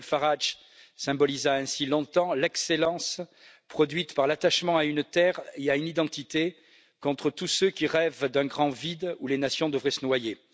Nigel Farage symbolisa ainsi longtemps l'excellence produite par l'attachement à une terre et à une identité, contre tous ceux qui rêvent d'un grand vide où les nations devraient se noyer.